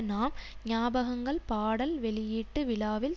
நாம் ஞாபகங்கள் பாடல் வெளியீட்டு விழாவில்